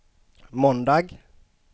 måndag